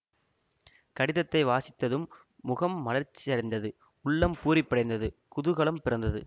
கடிதத்தை வாசித்ததும் முகம் மலர்ச்சியடைந்தது உள்ளம் பூரிப்படைந்தது குதூகலம் பிறந்தது